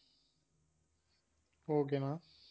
okay ண்ணா